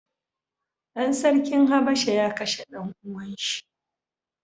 Ɗan sarkin habasha ya kashe ɗan uwan shi.